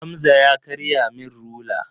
Hamza ya karya min rula.